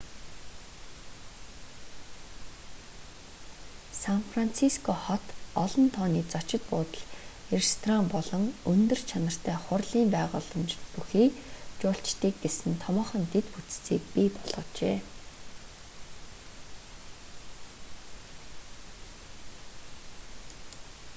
сан франциско хот олон тооны зочид буудал ресторан болон өндөр чанартай хурлын байгууламжууд бүхий жуулчдыг гэсэн томоохон дэд бүтцийг бий болгожээ